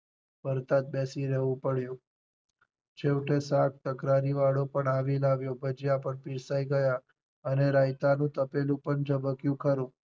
ભરતા જ બેસી રહેવું પડ્યું છેવટે શાક તકરારી વાળો પણ આવી લાવ્યો ભજીયા પણ પીરસાય ગયા અને રાયતા નું તપેલું પણ ઝબક્યું ખરું.